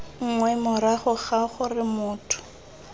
nngwe morago ga gore motho